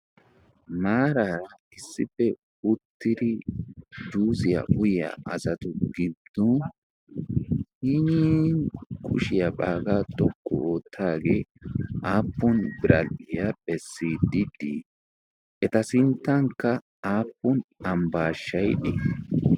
Maaraa issippe uttidi juusiyaa uyiyaa azatu giddon hinin kushiyaa baagaa tokku oottaagee aappun bral'iyaa phessididii eta sinttankka aappun ambbaashshaiddi